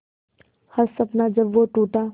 हर सपना जब वो टूटा